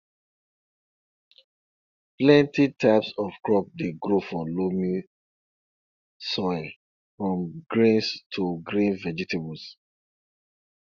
plenty types of crops dey grow for loamy soil from grains to green vegetables